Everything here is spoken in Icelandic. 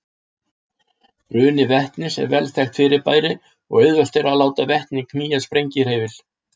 Bruni vetnis er vel þekkt fyrirbæri og auðvelt er að láta vetni knýja sprengihreyfil.